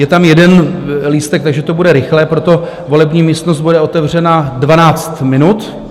Je tam jeden lístek, takže to bude rychlé, proto volební místnost bude otevřena 12 minut.